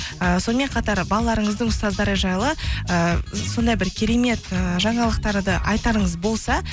ііі сонымен қатар балаларыңыздың ұстаздары жайлы ыыы сондай бір керемет ііі жаңалықтарды айтарыңыз болса